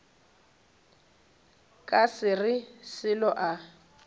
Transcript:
ka se re selo a